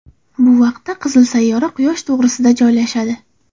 Bu vaqtda qizil sayyora Quyosh to‘g‘risida joylashadi.